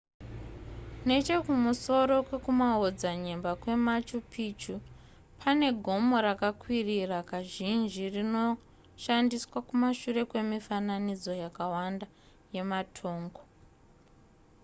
nechekumusoro kwekumaodzanyemba kwemachu picchu pane gomo rakakwirira kazhinji rinoshandiswa kumashure kwemifananidzo yakawanda yematongo